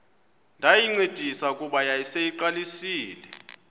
ndayincedisa kuba yayiseyiqalisile